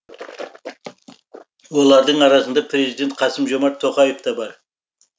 олардың арасында президент қасым жомарт тоқаев та бар